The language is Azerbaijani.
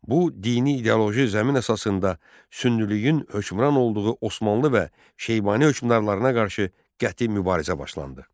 Bu dini ideoloji zəmin əsasında sünnilüyün hökmran olduğu Osmanlı və Şeybani hökmdarlarına qarşı qəti mübarizə başlandı.